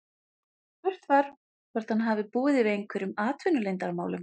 Spurt var, hvort hann hafi búið yfir einhverjum atvinnuleyndarmálum?